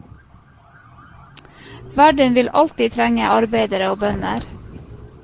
Verden vil alltid trenge arbeidere og bønder.